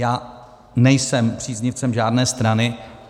Já nejsem příznivcem žádné strany.